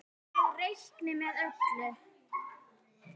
Að ég reikni með öllu.